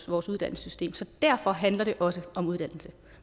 vores uddannelsessystem så derfor handler det også om uddannelse